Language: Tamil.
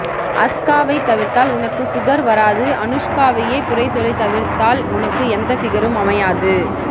அஸ்கா வை தவிர்த்தால் உனக்கு சுகர் வராது அனுஷ்கா வையே குறை சொல்லி தவிர்த்தால் உனக்கு எந்த பிகரும் அமையாது